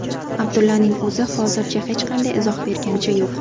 Abdullaning o‘zi hozircha hech qanday izoh berganicha yo‘q.